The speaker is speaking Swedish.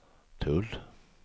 tull